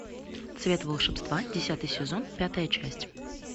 цвет волшебства десятый сезон пятая часть